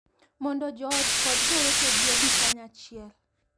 Mondo joot kod jowetegi obi kanyachiel .